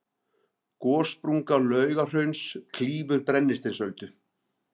gossprunga laugahrauns klýfur brennisteinsöldu